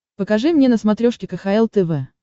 покажи мне на смотрешке кхл тв